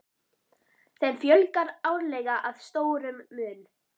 Þeim fjölgar árlega að stórum mun.